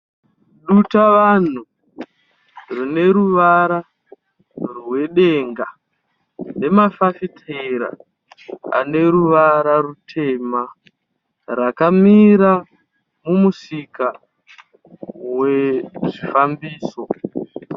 Dutavanhu rineruvara rwedenga nemafafitera ane ruvara rutema, rakamira mumusika wezvifambiso.